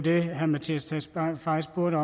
og nu